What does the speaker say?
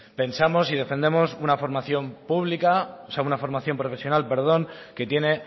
pensamos y defendemos una formación profesional que tiene